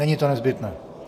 Není to nezbytné.